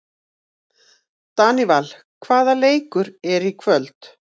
Daníval, hvaða leikir eru í kvöld?